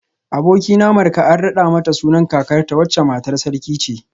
Abokina Marka an rada mata sunan kakarta wacce matar sarki ce